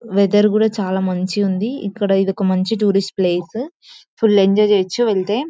Weather కూడా చాలా మంచిగుంది. ఇక్కడ ఇది టూరిస్ట్ ప్లేస్ ఫుల్ ఎంజాయ్ చెయ్యొచ్చు వెళ్తే.